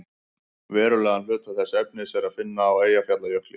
verulegan hluta þess efnis er að finna á eyjafjallajökli